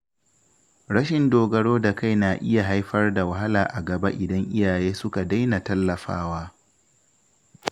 Rashin dogaro da kai na iya haifar da wahala a gaba idan iyaye suka daina tallafawa